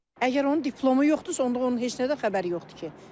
Əgər onun diplomu yoxdursa, onda onun heç nədən xəbəri yoxdur ki.